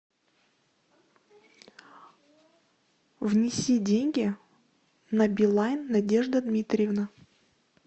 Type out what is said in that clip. внеси деньги на билайн надежда дмитриевна